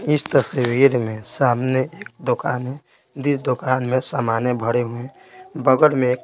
इस तस्वीर में सामने एक दोकान है जिस दोकान में सामानें भरे हुए हैं बगल में एक --